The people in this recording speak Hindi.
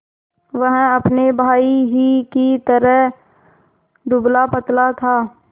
वह अपने भाई ही की तरह दुबलापतला था